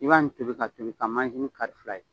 I b'ani tobi ka tobi ka manzini kari fila ye